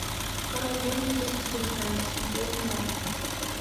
король лев две тысячи девятнадцать смотреть онлайн